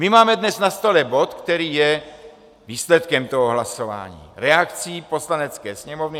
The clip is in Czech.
My máme dnes na stole bod, který je výsledkem toho hlasování, reakcí Poslanecké sněmovny.